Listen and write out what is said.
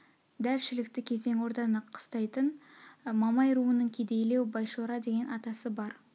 дәл шілікті кезең орданы қыстайтын мамай руының кедейлеу байшора деген атасы бар